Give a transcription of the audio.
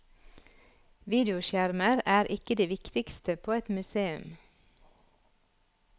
Videoskjermer er ikke det viktigste på et museum.